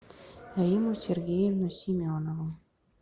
римму сергеевну семенову